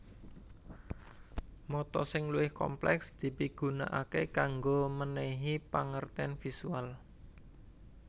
Mata sing luwih komplèks dipigunakaké kanggo mènèhi pangertèn visual